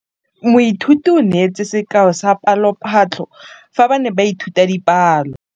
Moithuti o neetse sekaô sa palophatlo fa ba ne ba ithuta dipalo.